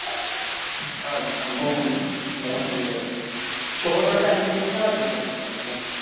અચ્છા હું હમજ્યો છ નો time છે કે સાત નો time છે તમારે